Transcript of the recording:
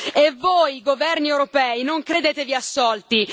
E voi governi europei non credetevi assolti.